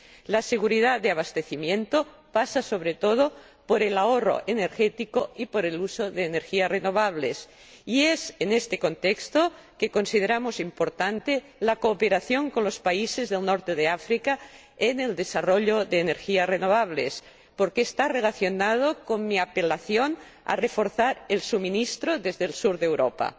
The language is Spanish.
La seguridad del abastecimiento pasa, sobre todo, por el ahorro energético y por el uso de energías renovables, y es en este contexto donde consideramos importante la cooperación con los países del norte de África en el desarrollo de energías renovables, porque está relacionado con mi apelación a reforzar el suministro desde el sur de Europa.